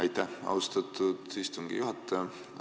Aitäh, austatud istungi juhataja!